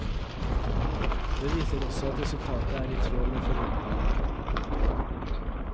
Det viser også at resultatet er i tråd med forventningene. punktum